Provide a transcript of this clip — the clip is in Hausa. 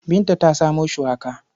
Binta ta samo shuwaka.